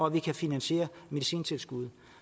at vi kan finansiere medicintilskuddet